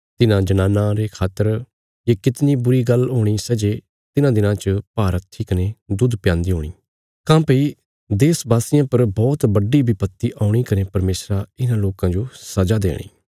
तिन्हां जनानां खातर ये कितणी बुरी गल्ल हूणी सै जे तिन्हां दिनां च भारहत्थी कने दुध प्यान्दी हुणियां काँह्भई देश वासियां पर बौहत बड्डी विपत्ति औणी कने परमेशरा इन्हां लोकां जो सजा देणी